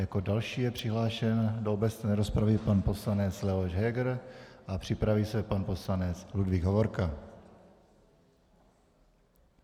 Jako další je přihlášen do obecné rozpravy pan poslanec Leoš Heger a připraví se pan poslanec Ludvík Hovorka.